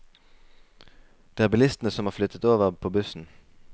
Det er bilistene som har flyttet over på bussen.